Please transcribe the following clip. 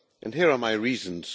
Here are my reasons.